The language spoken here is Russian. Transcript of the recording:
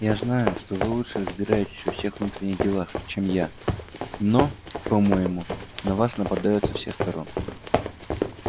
я знаю что вы лучше разбираетесь во всех внутренних делах чем я но по-моему на вас нападают со всех сторон